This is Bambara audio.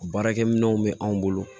Baarakɛminɛnw bɛ anw bolo